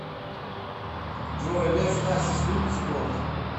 джой лев хасис любит спорт